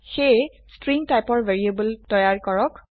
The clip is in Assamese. সেয়ে স্ট্ৰিং টাইপৰ ভ্যাৰিয়েবল তৈয়াৰ কৰক